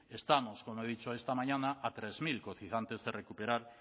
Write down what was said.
estamos como he dicho esta mañana a tres mil cotizantes de recuperar